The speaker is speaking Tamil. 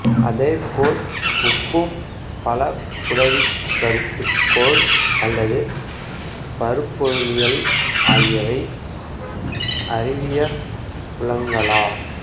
அதேபோல உப்பும் பலபுடவிக் கருதுகோள் அல்லது பருப்பொருளியல் ஆகியவை அறிவியற் புலங்களா